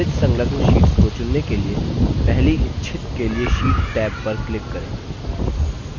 विविध संलग्न शीट्स को चुनने के लिए पहली इच्छित के लिए sheets टैब पर click करें